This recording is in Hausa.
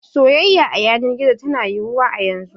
Soyayya a yanar gizo tana yiwuwa yanzu.